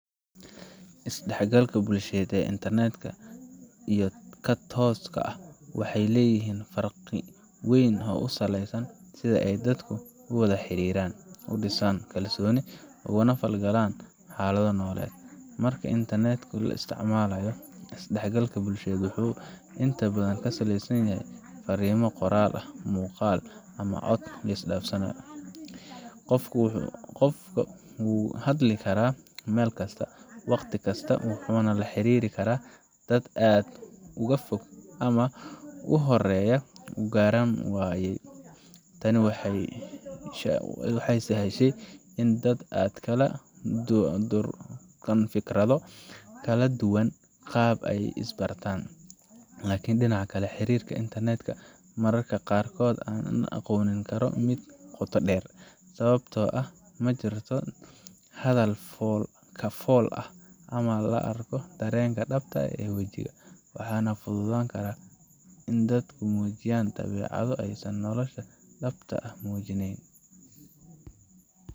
Is dhexgalka bulsheed ee internet ka iyo ka tooska ah waxay leeyihiin farqi weyn oo ku saleysan sida ay dadku u wada xiriiraan, u dhisaan kalsoonida, uguna falgalaan xaalado nololeed. Marka aad internet ka isticmaalayso, is dhexgalka bulsheed wuxuu inta badan ku saleysan yahay farriimo qoraal ah, muuqaal, ama cod la is dhaafsado. Qofku wuu ka hadli karaa meel kasta, waqti kasta, wuxuuna la xiriiri karaa dad aad uga fog ama uu horaya u garan waayay. Tani waxay sahashay in dad aad u kala durugsan oo fikrado kala duwan qaba ay is bartaan. Laakiin dhinaca kale, xiriirka internet ka mararka qaar ma noqon karo mid qoto dheer, sababtoo ah ma jirto hadal fool ka fool ah, lama arko dareenka dhabta ah ee wejiga, waxaana fududaan karta in dadku muujiyaan dabeecado aysan nolosha dhabta ah ku muujineyn